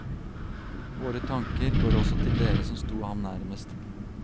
Våre tanker går også til dere som sto ham nærmest.